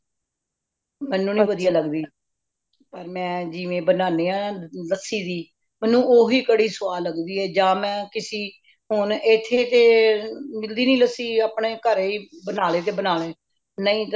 ਮੈਂਨੂੰ ਨਹੀਂ ਵਧੀਆ ਲਗਦੀ ਪਰ ਮੈਂ ਜੀਵਵੇ ਬੰਨਾਨੀਆਂ ਲੱਸੀ ਦੀ, ਮੈਂਨੂੰ ਉਹ ਵੀ ਕੜੀ ਸਵਾਦ ਲੱਗਦੀ ਹੈ ਜਾ ਮੈਂ ਕਿਸੀ ਹੂਨ ਇਥੇ ਤੇ ਮਿਲਦੀ ਨਹੀਂ ਲੱਸੀ ਆਪਣੇ ਘਰੇ ਬਣਾ ਲੈਣੇ ਨਹੀਂ ਤੇ ਮੈਂ